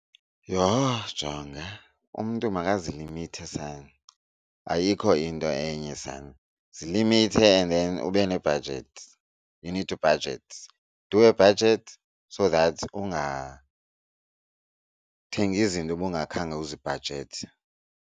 Yho! Jonga, umntu makazilimithe sana ayikho into enye sana. Zilimithe and then ube nebhajethi, you need to budget. Do a budget so that ungathengi izinto ubungakhange uzibhajethe.